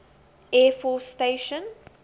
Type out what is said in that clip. air force station